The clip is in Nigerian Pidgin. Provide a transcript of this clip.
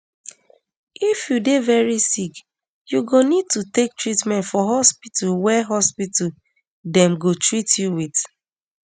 if you dey veri sick you go um need take treatment for hospital wia hospital wia dem go teat you wit